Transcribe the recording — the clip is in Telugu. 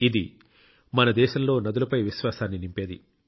ఇది మన దేశంలో నదులపై విశ్వాసాన్ని నింపేది